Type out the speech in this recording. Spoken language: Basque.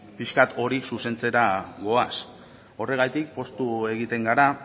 pixka bat hori zuzentzera goaz horregatik poztu egiten gara